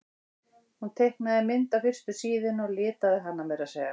Hún teiknaði mynd á fyrstu síðuna og litaði hana meira að segja.